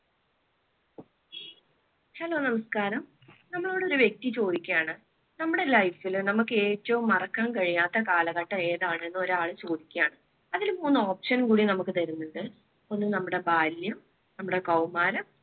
hello നമസ്കാരം നമ്മളോട് ഒരു വ്യക്തി ചോദിക്കുകയാണ് നമ്മുടെ life ൽ നമുക്ക് ഏറ്റവും മറക്കാൻ കഴിയാത്ത കാലഘട്ടം ഏതാണെന്ന് ഒരു ആൾ ചോദിക്കാണ്. അതിൽ മൂന്ന് option കൂടി നമുക്ക് തരുന്നുണ്ട് ഒന്ന് നമ്മുടെ ബാല്യം നമ്മുടെ കൗമാരം